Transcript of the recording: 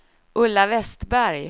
Ulla Vestberg